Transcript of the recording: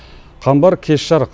қамбар кеш жарық